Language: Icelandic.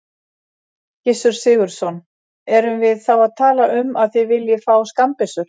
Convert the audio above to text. Gissur Sigurðsson: Erum við þá að tala um að þið viljið fá skammbyssur?